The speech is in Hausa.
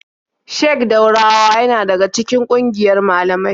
Sheik Daurawa yana daga cikin ƙungiyar malamai.